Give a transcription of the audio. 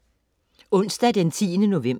Onsdag den 10. november